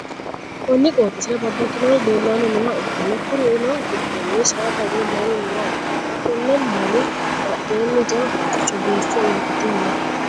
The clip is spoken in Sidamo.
konni qooxeessira babbaxxinori leellanni nooha ikkanna, kuriu giddoonni saada woy lalu nooha ikkanna, konni lali badheenni jawa haqqichu biiffe uurrite no.